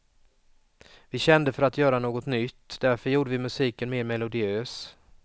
Vi kände för att göra något nytt, därför gjorde vi musiken mer melodiös.